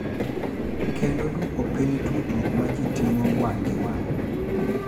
Kendo dwoko piny tudruok ma ji timo wang’ gi wang’.